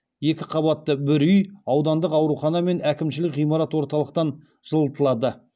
екі қабатты бір үй аудандық аурухана мен әкімшілік ғимарат орталықтан жылытылады